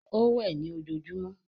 Ó wẹ̀ ní ojojúmọ́.